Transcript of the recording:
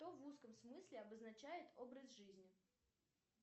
что в узком смысле обозначает образ жизни